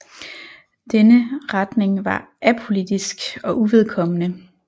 Denne retning var apolitisk og uvedkommende